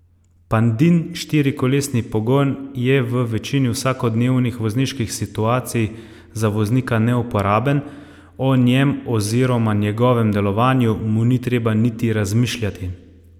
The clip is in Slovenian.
Pandin štirikolesni pogon je v večini vsakodnevnih vozniških situacij za voznika neuporaben, o njem oziroma njegovem delovanju mu ni treba niti razmišljati.